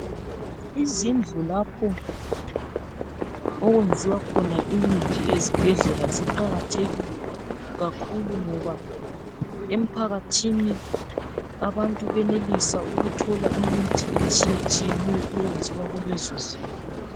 Izindlu lapho okwenziwa khona imithi ezibhedlela ziqakathekile kakhulu ngoba emphakathini abantu benelisa ukuthola imithi etshiystshiyeneyo eyenziwa kulezo zindlu.